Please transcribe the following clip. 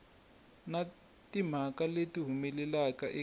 na timhaka leti humelelaka eka